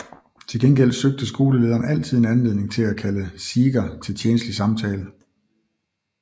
Til gengæld søgte skolelederen altid en anledning til at kalde Seeger til tjenstlig samtale